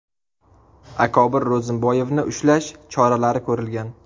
Akobir Ro‘zimboyevni ushlash choralari ko‘rilgan.